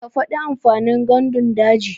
Ka faɗi amfanin gandun daji.